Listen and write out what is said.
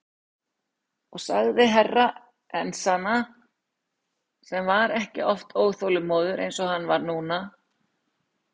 Og sagði Herra Enzana sem var ekki oft óþolinmóður eins og hann var núna.